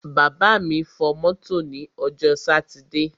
Bàbá fọ mọ́tò ní ọjọ́ sátidé.